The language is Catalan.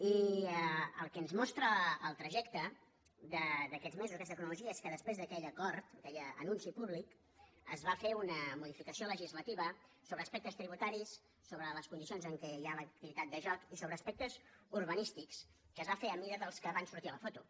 i el que ens mostra el trajecte d’aquests mesos aquesta cronologia és que després d’aquell acord d’aquell anunci públic es va fer una modificació legislativa sobre aspectes tributaris sobre les condicions en què hi ha l’activitat de joc i sobre aspectes urbanístic que es van fer a mida dels que van sortir a la foto